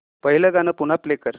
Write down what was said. पहिलं गाणं पुन्हा प्ले कर